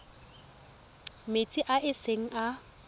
metsing a e seng a